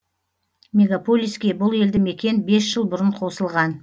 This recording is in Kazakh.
мегаполиске бұл елді мекен бес жыл бұрын қосылған